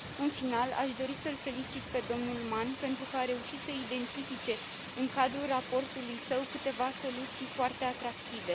În final, aș dori să îl felicit pe domnul Mann, pentru că a reușit să identifice în cadrul raportului său câteva soluții foarte atractive.